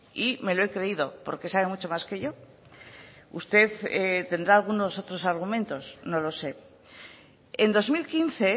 y me lo he creído porque sabe mucho más que yo usted tendrá algunos otros argumentos no lo sé en dos mil quince